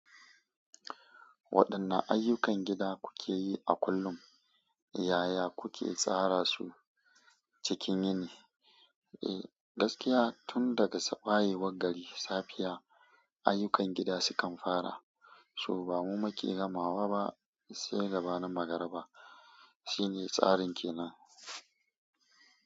Waɗanne ayyukan gida kuke yi a kullum, yaya kuke tsara su cikin yini? Gaskiya tun daga wayewar gari, safiya ayyukan gida sukan fara, so ba mu muke gamawa ba sai gabanin magariba. Shi ne tsarin kenan.